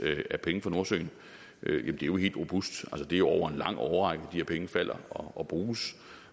af penge fra nordsøen er jo helt robust det er jo over en lang årrække her penge falder og bruges